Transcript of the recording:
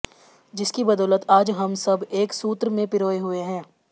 जिसकी बदौलत आज हम सब एक सूत्र में पिरोये हुए हैं